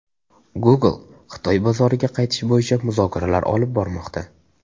Google Xitoy bozoriga qaytish bo‘yicha muzokaralar olib bormoqda.